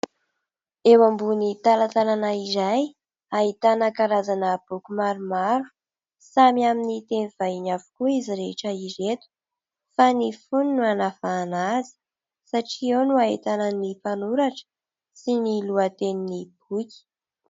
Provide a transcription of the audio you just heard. Eo ambony talantalana iray ahitana karazana boky maromaro. Samy amin'ny teny vahiny avokoa izy rehetra ireto, fa ny foniny no hanavahana azy satria ao no ahitana ny mpanoratra sy ny lohatenin'ny boky.